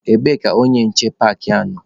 Kedu ebe onye nche paakị a nọ?